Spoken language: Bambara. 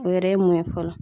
O yɛrɛ ye mun ye fɔlɔ.